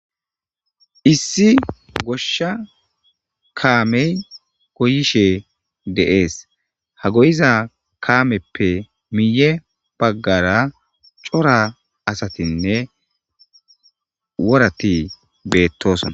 Issi goshsha kaamey goyishe deees ha goyiza kaameppe miiye baggara cora asatinne worati beettosona.